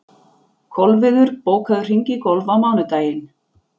Kolviður, bókaðu hring í golf á mánudaginn.